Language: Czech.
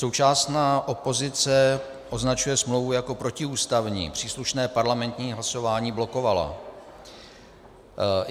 Současná opozice označuje smlouvu jako protiústavní, příslušné parlamentní hlasování blokovala.